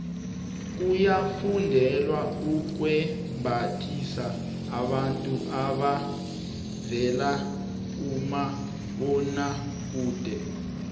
kuyafundelwa ukwembathisa abantu abavela kumabonwakude